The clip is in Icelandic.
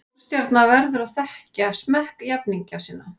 Stórstjarna verður að þekkja smekk jafningja sinna.